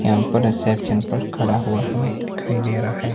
यहां पर रिसेप्शन पर खड़ा हुआ हमें दिखाई दे रहा है।